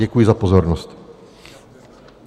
Děkuji za pozornost.